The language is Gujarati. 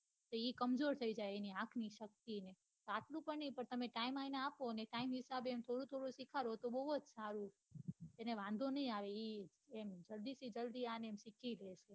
ને એ કમજોર થઈ જાય આંખ ની છપકી ને આટલું પન ની ને પણ time એને આપો ને time હિસાબે થોડું થોડું સીખાડો તો બહુ જ સારું એને વાંઘો ની આવે એમ જલ્દી ને જલ્દી સીખી જશે